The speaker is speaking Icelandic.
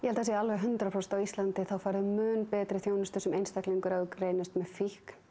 að það sé alveg hundrað prósent á Íslandi að þú færð mun betri þjónustu sem einstaklingur ef þú greinist með fíkn